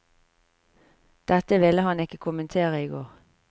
Dette ville han ikke kommentere i går.